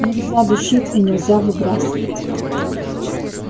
нельзя душить и нельзя выбрасывать